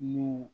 N'o